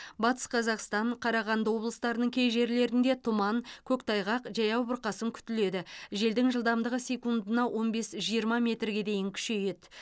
батыс қазақстан қарағанды облыстарының кей жерлерінде тұман көктайғақ жаяу бұрқасын күтіледі желдің жылдамдығы секундына он бес жиырма метрге дейін күшейеді